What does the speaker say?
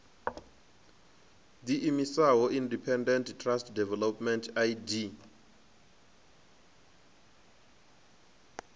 ḓiimisaho independent trust development idt